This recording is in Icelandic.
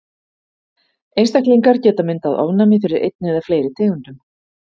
Einstaklingar geta myndað ofnæmi fyrir einni eða fleiri tegundum.